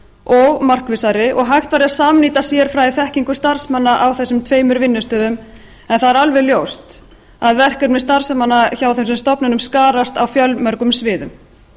og markvissari og hægt væri að samnýta sérfræðiþekkingu starfsmanna á þessum tveimur vinnustöðum en það er alveg ljóst að verkefni starfsmanna hjá þessum stofnunum skarast á fjölmörgum sviðum